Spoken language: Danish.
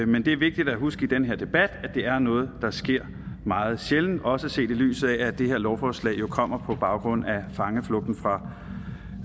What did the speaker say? men det er vigtigt at huske i den her debat at det er noget der sker meget sjældent også set i lyset af at det her lovforslag jo kommer på baggrund af fangeflugten fra